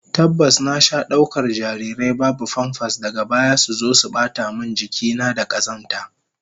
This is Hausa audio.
Tabbas, na sha daukar jarirai babu famfas, daga baya suzo su bata min jiki na da kazanta